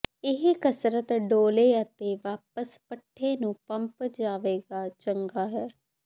ਇਹ ਕਸਰਤ ਡੌਲੇ ਅਤੇ ਵਾਪਸ ਪੱਠੇ ਨੂੰ ਪੰਪ ਜਾਵੇਗਾ ਚੰਗਾ ਹੈ